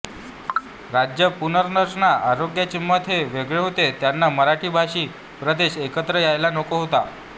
राज्य पुनर्रचना आयोगाचे मत हे वेगळे होते त्यांना मराठी भाषी प्रदेश एकत्र यायला नको होता